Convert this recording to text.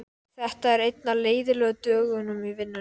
En blygðaðist sín þess í stað, blygðaðist sín hræðilega.